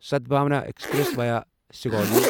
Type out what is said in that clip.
Sadbhavna express via Sugauli